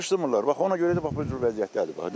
Yığışdırmırlar, bax ona görə də bax bu cür vəziyyətdədir.